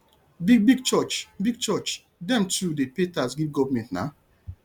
big big church big church dem too dey pay tax give government na